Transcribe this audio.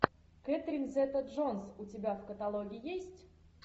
кэтрин зета джонс у тебя в каталоге есть